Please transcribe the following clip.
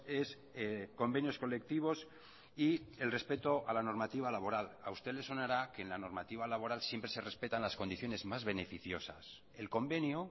es convenios colectivos y el respeto a la normativa laboral a usted le sonará que la normativa laboral siempre se respetan las condiciones más beneficiosas el convenio